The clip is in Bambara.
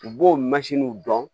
U b'o mansinw dɔn